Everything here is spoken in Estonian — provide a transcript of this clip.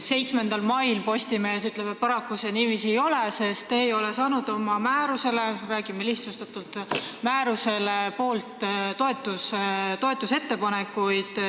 7. mai Postimees kirjutas, et paraku see niiviisi ei ole, sest te ei ole saanud oma määrusele – räägime lihtsustatult – toetust.